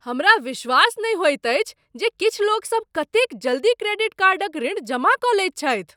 हमरा विश्वास नहि होइत अछि जे किछु लोकसभ कतेक जल्दी क्रेडिट कार्डक ऋण जमा कऽ लैत छथि।